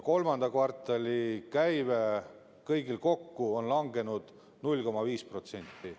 Kolmanda kvartali käive kõigil kokku on langenud 0,5%.